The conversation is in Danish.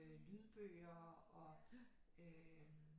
Lydbøger og